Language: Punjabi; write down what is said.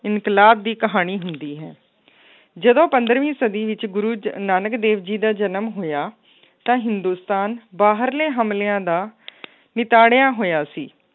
ਇਨਕਲਾਬ ਦੀ ਕਹਾਣੀ ਹੁੰਦੀ ਹੈ ਜਦੋਂ ਪੰਦਰਵੀਂ ਸਦੀ ਵਿੱਚ ਗੁਰੂ ਜ~ ਨਾਨਕ ਦੇਵ ਜੀ ਦਾ ਜਨਮ ਹੋਇਆ ਤਾਂ ਹਿੰਦੁਸਤਾਨ ਬਾਹਰਲੇ ਹਮਲਿਆਂ ਦਾ ਨਿਤਾੜਿਆ ਹੋਇਆ ਸੀ